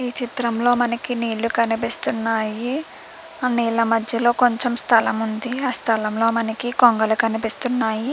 ఈ చిత్రం లో మనకి నీళ్ళు కనిపిస్తున్నాయి. ఆ నీళ్ల మధ్యలో కొంచం స్థలం ఉంది. ఆ స్థలంలో మనకి కొంగలు కనిపిస్తున్నాయి.